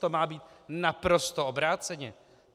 To má být naprosto obráceně!